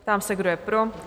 Ptám se, kdo je pro?